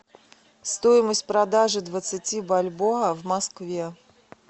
стоимость продажи двадцати бальбоа в москве